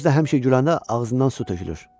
Özü də həmişə güləndə ağzından su tökülür.